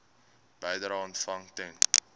bedrae ontvang ten